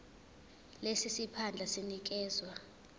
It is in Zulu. lesi siphandla sinikezwa